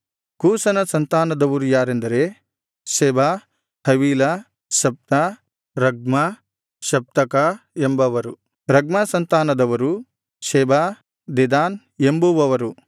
ಕೂಷನ ಸಂತಾನದವರು ಯಾರೆಂದರೆ Seba Havilah Sabtah Raamah Sabteca ಎಂಬವರು ರಗ್ಮ ಸಂತಾನದವರು ಶೆಬಾ ದೆದಾನ್ ಎಂಬುವವರು